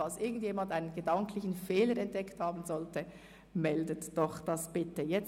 Falls jemand einen gedanklichen Fehler in dieser Kaskade entdeckt, wäre ich froh um eine Mitteilung.